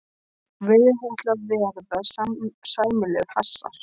Virðist ætla að verða sæmilegur hasar.